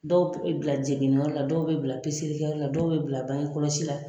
Dɔw bɛ bila jiginikɛyɔrɔ la, dɔw bɛ bila peselikɛ la, dɔw bɛ bila bange kɔlɔsi la.